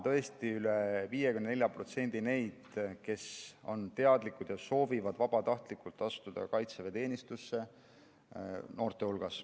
Tõesti on üle 54% noorte hulgas neid, kes on teadlikud ja soovivad vabatahtlikult astuda kaitseväeteenistusse.